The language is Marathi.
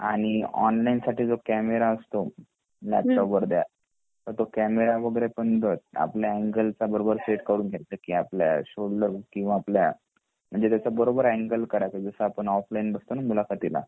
आणि ऑनलाइन साठी जो कॅमेरा असतो लॅपटॉप वर त्या कॅमेरा तो कॅमेरा वगैरे र पण आपल्या अॅनगल चा बरोबर सेट करून घ्यायचा की आपल्या शोल्डर किंवा आपल्या म्हणजे त्याचा बरोबर आंगले काढायचा जस आपण ऑफलाइन बसतो ना मुलाखतीला